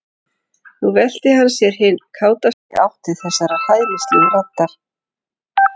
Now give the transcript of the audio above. Nú velti hann sér hinn kátasti í átt til þessarar hæðnislegu raddar.